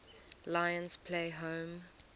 lions play home